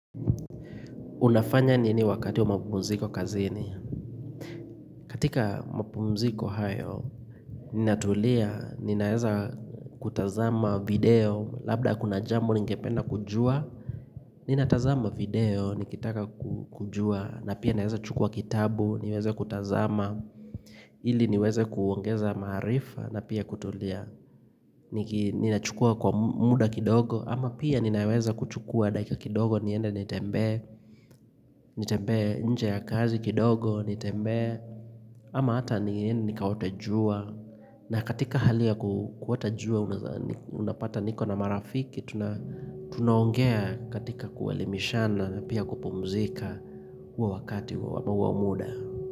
Unafanya nini wakati wa mapumziko kazini? Katika mapumziko hayo, ninatulia, ninaweza kutazama video, labda kuna jambo ningependa kujua. Ninatazama video, nikitaka kujua, na pia naweza chukua kitabu, niweze kutazama, ili niweze kuongeza maarifa, na pia kutulia. Ninachukua kwa muda kidogo ama pia ninaweza kuchukua dakika kidogo Nienda nitembee Nitembee nje ya kazi kidogo Nitembee ama hata niende nikaote jua na katika hali ya kuota jua Unapata niko na marafiki Tunaongea katika kuelimishana na pia kupumzika huo wakati au huo muda.